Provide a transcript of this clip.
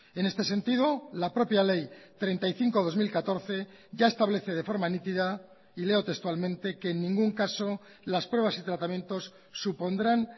en este sentido la propia ley treinta y cinco barra dos mil catorce ya establece de forma nítida y leo textualmente que en ningún caso las pruebas y tratamientos supondrán